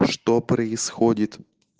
что происходит